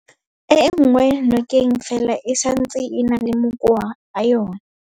E enngwe nokeng fela e santse e na le makoa a yona.